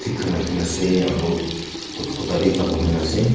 khan rakho ase aru kuta bhi humai ase.